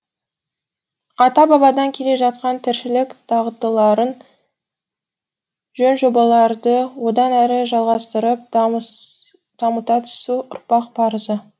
ата бабадан келе жатқан тіршілік дағдыларын жөн жобаларды одан әрі жалғастырып дамыта түсу ұрпақ парызы